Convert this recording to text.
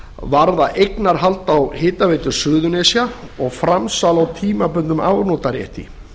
varða eignarhald á hitaveitu suðurnesja og framsal á tímabundnum afnotarétti